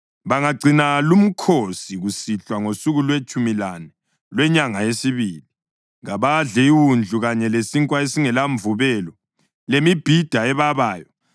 Bangagcina lumkhosi kusihlwa ngosuku lwetshumi lane lwenyanga yesibili. Kabadle iwundlu, kanye lesinkwa esingelamvubelo lemibhida ebabayo.